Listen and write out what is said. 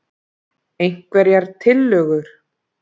Einhverjar tillögur??